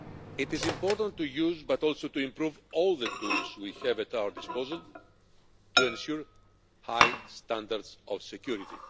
It is important to use, but also to improve, all the tools we have at our disposal to ensure high standards of security.